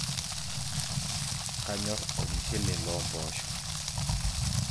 kanyorr olumushele loompoosho